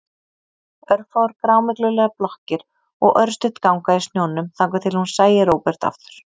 Örfáar grámyglulegar blokkir og örstutt ganga í snjónum þangað til hún sæi Róbert aftur.